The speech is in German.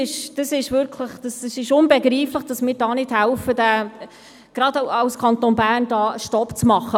Es ist unbegreiflich, dass wir nicht helfen, gerade als Kanton Bern, da einen Stopp zu machen.